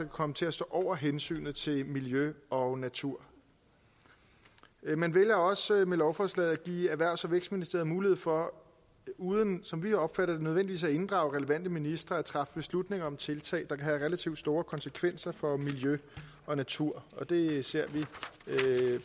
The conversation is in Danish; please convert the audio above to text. komme til at stå over hensynet til miljø og natur man vælger også med lovforslaget at give erhvervs og vækstministeren mulighed for uden som vi opfatter det nødvendigvis at inddrage relevante ministre at træffe beslutning om tiltag der kan have relativt store konsekvenser for miljø og natur og det ser vi